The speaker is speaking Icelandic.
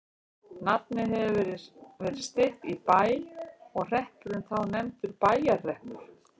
Nafnið hefur oft verið stytt í Bæ og hreppurinn þá nefndur Bæjarhreppur.